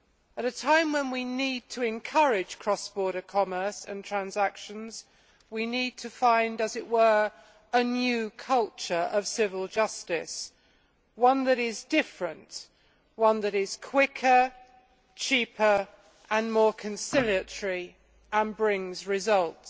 At a time when we need to encourage cross border commerce and transactions, we need to find a new culture of civil justice one that is different, one that is quicker, cheaper and more conciliatory, and one that brings results.